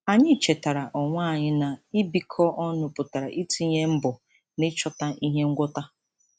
Anyị chetara onwe anyị na ibikọ ọnụ pụtara itinye mbọ n'ịchọta ihe ngwọta.